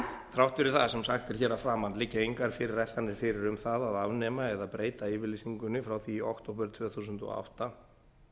fyrir það sem sagt er hér að framan liggja engar fyrirætlanir fyrir um það að afnema eða breyta yfirlýsingunni frá því í október tvö þúsund og átta